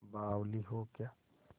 बावली हो क्या